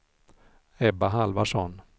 Ebba Halvarsson